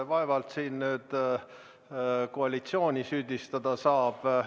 Vaevalt siin nüüd koalitsiooni süüdistada saab.